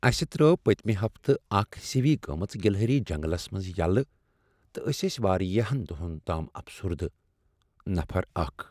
اسہ ترٲو پٔتۍمہ ہفتہٕ اکھ سِوۍ گمژ گلہری جنگلس منٛز یلہٕ تہٕ اسۍ ٲسۍ واریاہن دۄہن تام افسردٕہ، نفر اکھَ